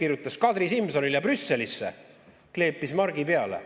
Kirjutas Kadri Simsonile Brüsselisse, kleepis margi peale.